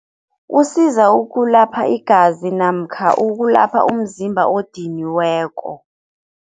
Usiza ukulapha igazi namkha ukulapha umzimba odiniweko.